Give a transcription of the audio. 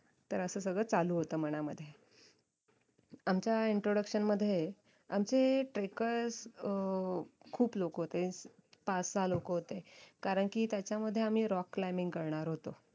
तर असं सगळं असं चालू होत मनामध्ये आमच्या introduction मध्ये आमचे trackers अं खूप लोक होते पाच सहा लोक होते करणकी त्याच्या मध्ये आम्ही rock climbing करणार होतो